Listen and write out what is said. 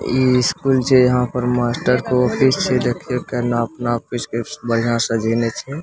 इ स्कूल छै यहां पर मास्टर के ऑफिस छै देखियो कना अपना ऑफिस के बढ़िया से सजायने छै।